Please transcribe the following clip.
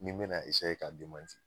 N'i be na esaye k'a demanti